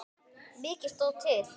Mikið stóð til.